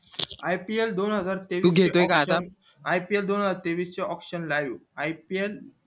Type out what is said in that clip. ipl दोन हजार तेवीस ipl दोन हजार तेवीस ची ipl